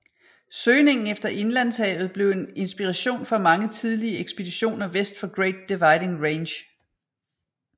Søgningen efter indlandshavet blev en inspiration for mange tidlige ekspeditioner vest for Great Dividing Range